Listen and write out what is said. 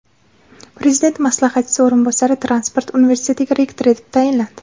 Prezident maslahatchisi o‘rinbosari Transport universitetiga rektor etib tayinlandi.